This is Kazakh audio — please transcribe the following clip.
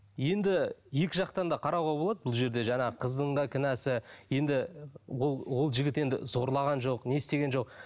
енді екі жақтан да қарауға болады бұл жерде жаңағы қыздың да кінәсі енді ол ол жігіт енді зорлаған жоқ не істеген жоқ